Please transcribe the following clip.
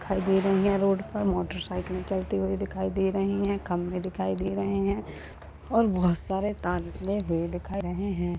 दिखाई दे रही हैं रोड पर मोटर साइकिलें चलते हुए दिखाई दे रही हैं खम्बे दिखाई दे रहें हैं और बहोत सारे हैं।